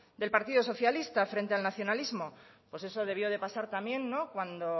del partido socialista frente al nacionalismo pues eso debió de pasar también cuando